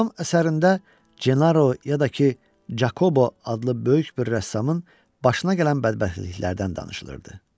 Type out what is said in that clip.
Bu dram əsərində Cenaro ya da ki, Cakobo adlı böyük bir rəssamın başına gələn bədbəxtliklərdən danışılırdı.